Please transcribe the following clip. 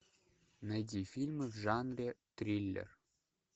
найди фильмы в жанре триллер